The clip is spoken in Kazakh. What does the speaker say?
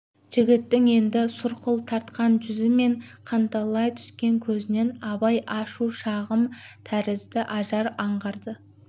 жігіттің енді сұрқыл тартқан жүзі мен қанталай түскен көзінен абай ашу-шағым тәрізді ажар аңғарды